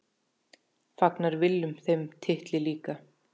Fagnar Willum þeim titli líka?